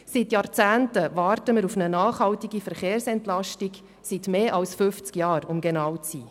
Seit Jahrzehnten warten wir auf eine nachhaltige Verkehrsentlastung – seit mehr als fünfzig Jahren, um genau zu sein.